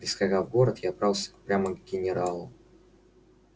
прискакав в город я отправился прямо к генералу